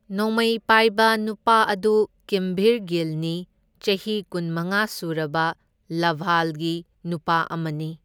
ꯅꯣꯡꯃꯩ ꯄꯥꯢꯕ ꯅꯨꯄꯥ ꯑꯗꯨ ꯀꯤꯝꯚꯤꯔ ꯒꯤꯜꯅꯤ, ꯆꯍꯤ ꯀꯨꯟꯃꯉꯥ ꯁꯨꯔꯕ ꯂꯚꯥꯜꯒꯤ ꯅꯨꯄꯥ ꯑꯃꯅꯤ꯫